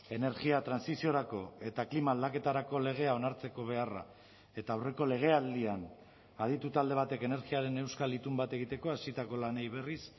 energia trantsiziorako eta klima aldaketarako legea onartzeko beharra eta aurreko legealdian aditu talde batek energiaren euskal itun bat egiteko hasitako lanei berriz